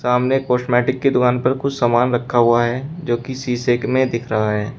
सामने कॉस्मेटिक की दुकान पर कुछ सामान रखा हुआ है जो शीशे में दिख रहा है।